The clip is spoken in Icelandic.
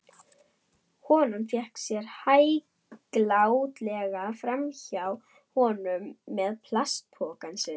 Konan vék sér hæglátlega framhjá honum með plastpokann sinn.